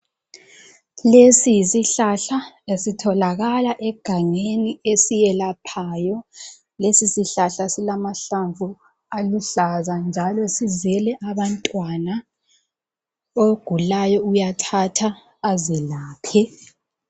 Lesi yisihlahla esitholakala egangeni esiyelaphayo lesi sihlahla silamahlamvu aluhlaza njalo sizele abantwana ogulayo uyathatha azelaphe